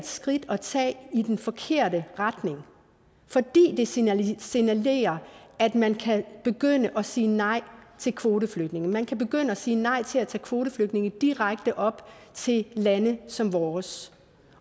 skridt at tage i den forkerte retning fordi det signalerer signalerer at man kan begynde at sige nej til kvoteflygtninge man kan begynde at sige nej til at tage kvoteflygtninge direkte op til lande som vores